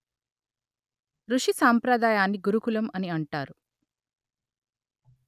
ఋషి సాంప్రదాయాన్ని గురుకులం అని అంటారు